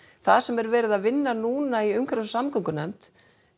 það sem er verið að vinna núna í umhverfis og samgöngunefnd